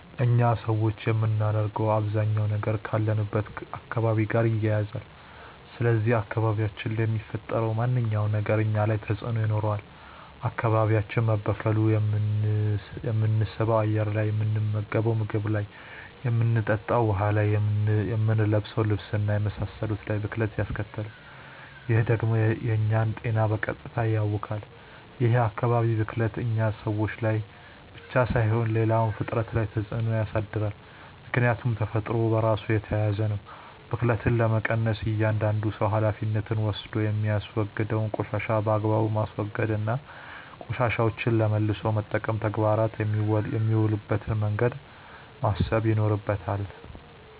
እኛ ሰዎች የምናደርገው አባዛኛው ነገር ካለንበት አካባቢ ጋር ይያያዛል። ስለዚህ አካባቢያችን ላይ የሚፈጠረው ማንኛውም ነገር እኛ ላይ ተጽእኖ ይኖረዋል። አካባቢያችን መበከሉ የምንስበው አየር ላይ፣ የምንመገንው ምግብ ላይ፣ የምንጠጣው ውሀ ላይ፣ የምንለብሰው ልብስ እና የመሳሰሉት ላይ ብክለት ያስከትላል። ይህ ደግሞ የእኛን ጤና በቀጥታ ያውካል። ይህ የአካባቢ ብክለት እኛ ሰዎች ላይ ብቻ ሳይሆን ሌላውም ፍጥረት ላይ ተፅእኖ ያሳድራል። ምክያቱም ተፈጥሮ በራሱ የተያያዘ ነው። ብክለትን ለመቀነስ እያዳንዱ ሰው ሀላፊነት ወስዶ የሚያወግደውን ቆሻሻ በአግባቡ ማስወገድ እና ቆሻሻዎችን ለመልሶ መጠቀም ተግባር የሚውልበትን መንገድ ማሰብ ይኖርበታል።